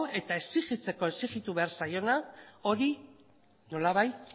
eta exigitzeko exigitu behar zaiona hori nolabait